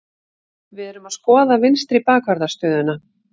Við erum að skoða vinstri bakvarðar stöðuna.